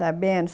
Sabendo.